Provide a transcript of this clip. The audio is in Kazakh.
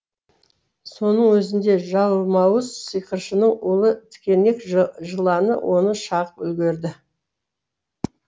соның өзінде жалмауыз сиқыршының улы тікенек жыланы оны шағып үлгерді